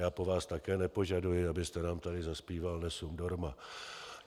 Já po vás také nepožaduji, abyste nám tady zazpíval Nessun dorma.